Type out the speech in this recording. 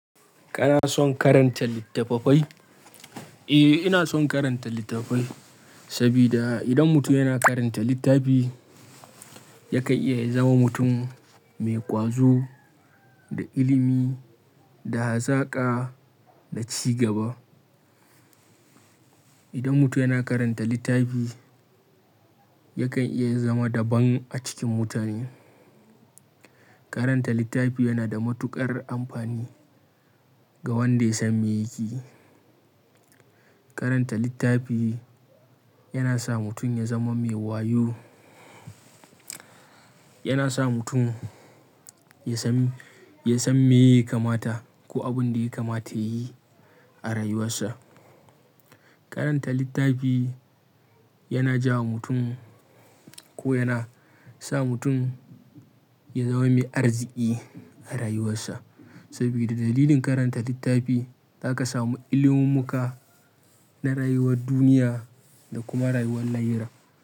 Kana son karanta littattafai? Eh, ina son karanta littattafai sabida idan mutum yana karanta littafi, yakan iya ya zama mutum mai ƙwazo, da ilimi, da hazaƙa da cigaba. Idan mutum yana karanta littafi, yakan iya zama daban a cikin mutane. Karanta littafi yana da matuƙar amfani ga wanda ya san me yakeyi. Karanta littafi yana sa mutum ya zama mai wayo, yana sa mutum ya san, ya san me yaka mata ko abin da yaka mata ya yi a rayuwarsa. Karanta littafi yana ja mutum ko yana sa mutum ya zama mai arziki a rayuwarsa sabida dalilin karanta littafi zaka samu ilimumummuka na rayuwar duniya da kuma rayuwar lahira.